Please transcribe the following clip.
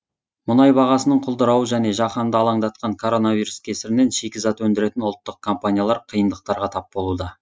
мұнай бағасының құлдырауы және жаһанды алаңдатқан коронавирус кесірінен шикізат өндіретін ұлттық компаниялар қиындықтарға тап болуда